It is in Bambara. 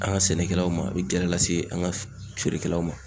An ga sɛnɛkɛlaw ma a be gɛlɛya lase an ga feerekɛlaw ma